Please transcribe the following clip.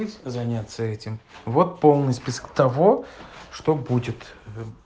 ты заняться этим вот полный список того что будет